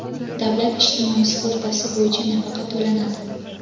davlat ijtimoiy sug‘urtasi bo‘yicha nafaqa to‘lanadi.